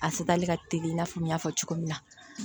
A futɛni ka teli i n'a fɔ n y'a fɔ cogo min na